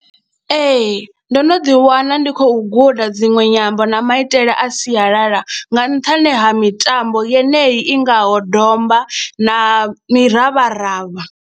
Ee, ndo no ḓiwana ndi khou guda dziṅwe nyambo na maitele a sialala nga nṱhani ha mitambo yenei i ngaho domba na miravharavha.